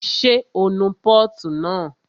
Ṣé o nu pọ́ọ̀tù náà?